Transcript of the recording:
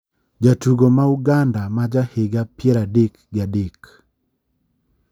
jatugo ma uganda ma jahiga pier adek gi adek